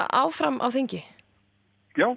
áfram á þingi já